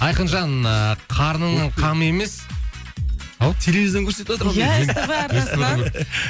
айқынжан ыыы қарныңның қамы емес ау телевизордан көрсетіватыр ау деймін иә ств арнасынан